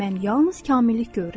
Mən yalnız kamillik görürəm.